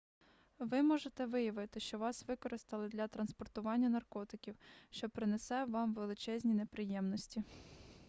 ви можете виявити що вас використали для транспортування наркотиків що принесе вам величезні неприємності